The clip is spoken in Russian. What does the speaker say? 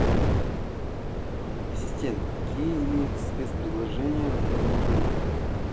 ассистент какие имеются спецпредложения в этом отеле